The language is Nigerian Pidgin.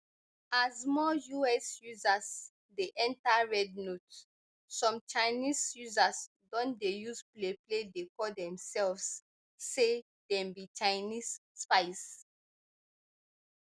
as more us users dey enta rednote some chinese users don dey use playplay dey call demselves say dem be chinese spies